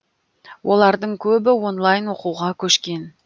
олардың көбі онлайн оқуға көшкен